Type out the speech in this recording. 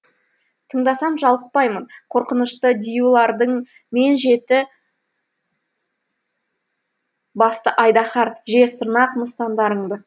тыңдасам жалықпаймын қорқынышты диюларың мен жеті басты айдаһар жез тырнақ мыстандарыңды